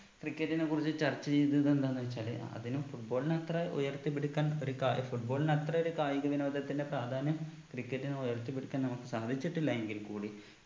cricket നെ കുറിച്ച് ചർച്ച ചെയ്തത് എന്താന്ന് വെച്ചാല് അതിനെ football ന്റെ അത്ര ഉയർത്തിപ്പിടിക്കാൻ ഒരു ക football ന് അത്ര ഒരു കായിക വിനോദത്തിന്റെ പ്രാധാന്യം cricket നെ ഉയർത്തിപ്പിടിക്കാൻ നമ്മുക്ക് സാധിച്ചിട്ടില്ല എങ്കിൽ കൂടി